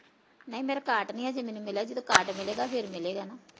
ਨਈ ਮੇਰਾ card ਨੀ ਅਜੇ ਮੈਨੂੰ ਮਿਲਿਆ, ਜਦੋ card ਮਿਲੇਗਾ ਫੇਰ ਮਿਲੇਗਾ ਨਾ